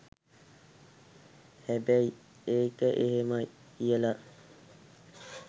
හැබැයි ඒක එහෙමයි කියලා